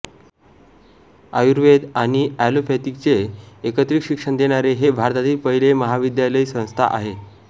आयुर्वेद आणि एलोपथीचे एकत्रित शिक्षण देणारे हे भारतातील पहिले महाविद्यालयसंस्था आहे